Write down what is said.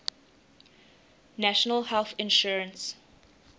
national health insurance